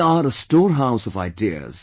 They are storehouse of ideas